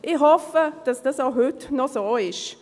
Ich hoffe, dass das auch heute noch so ist.